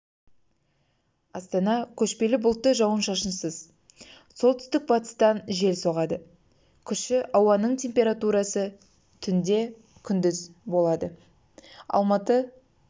астана көшпелі бұлтты жауын-шашынсыз солтүстік-батыстан жел соғады күші ауаның температурасы түнде күндіз болады алматы